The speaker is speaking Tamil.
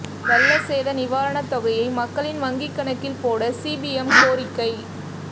வெள்ள சேத நிவாரணத் தொகையை மக்களின் வங்கிக் கணக்கில் போட சிபிஎம் கோரிக்கை